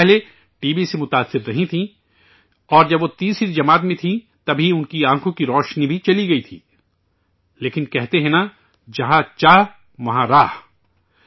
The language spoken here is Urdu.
وہ پہلے ٹی بی سے متاثر رہی تھیں اور جب وہ تیسری کلاس میں تھیں تبھی ان کی آنکھوں کی روشنی بھی چلی گئی تھی لیکن، کہتے ہیں نہ ،' جہاں چاہ وہاں راہ '